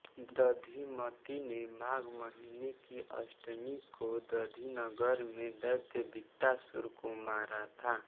दधिमती ने माघ महीने की अष्टमी को दधी नगर में दैत्य विकटासुर को मारा था